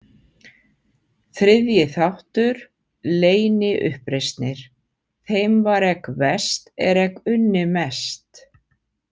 Þriðji þáttur LEYNIUPPREISNIR Þeim var eg verst er eg unni mest.